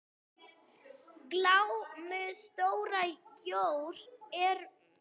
Glámu stóra jór er með.